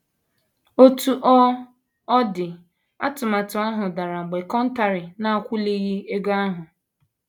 Otú ọ ọ dị, atụmatụ ahụ dara mgbe Contari na - akwụlighị ego ahụ.